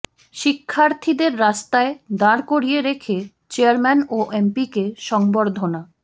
শিক্ষার্থীদের রাস্তায় দাঁড় করিয়ে রেখে চেয়ারম্যান ও এমপিকে সংবর্ধনা